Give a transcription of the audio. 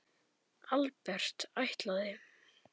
Albert: Ætlaði?